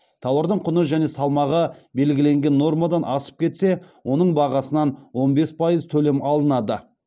тауардың құны және салмағы белгіленген нормадан асып кетсе оның бағасынан он бес пайыз төлем алынады